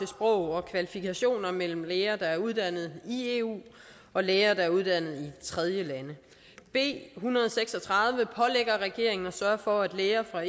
sprog og kvalifikationer mellem læger der er uddannet i eu og læger der er uddannet i tredjelande b en hundrede og seks og tredive pålægger regeringen at sørge for at læger fra